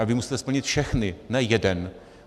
A vy musíte splnit všechny, ne jeden.